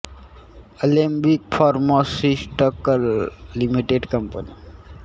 Alembic pharmaceuticals limited company pharmaceutical उत्पादने औषधी पदार्थ आणि त्या संबधी उत्पादनांमध्ये गुंतलेली आहे